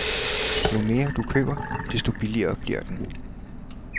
Jo mere du køber, desto billigere bliver den.